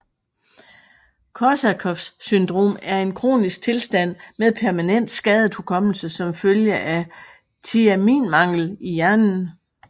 Korsakoffs syndrom er en kronisk tilstand med permanent skadet hukommelse som følge af tiaminmangel i hjernen